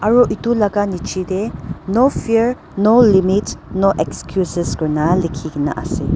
etu laka nichi dae no fear no limits no excuses kurina likina asae.